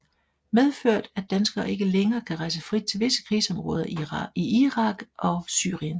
Medført at danskere ikke længere kan rejse frit til visse krigsområder i Irak og Syrien